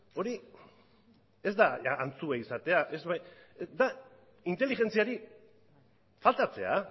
hori ez da antzua izatea da inteligentziari faltatzea